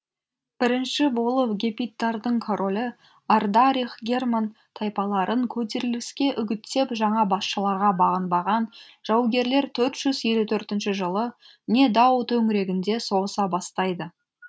бірінші болып гепидтардың королі ардарих герман тайпаларын көтеріліске үгіттеп жаңа басшыларға бағынбаған жаугерлер төрт жүз елу төртінші жылы недао төңірегінде соғыса бастайды